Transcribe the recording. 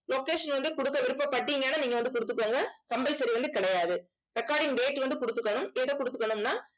location வந்து குடுக்க விருப்பப்பட்டீங்கன்னா நீங்க வந்து குடுத்துக்கோங்க. compulsory வந்து கிடையாது recording date வந்து குடுத்துக்கணும் கொடுத்துக்கணும்னா